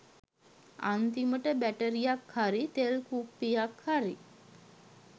අන්තිමට බැටරියක් හරි තෙල් කුප්පියක් හරි